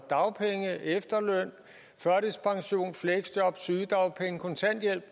af dagpenge efterløn førtidspension fleksjob sygedagpenge og kontanthjælp